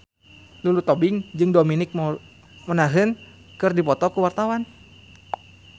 Lulu Tobing jeung Dominic Monaghan keur dipoto ku wartawan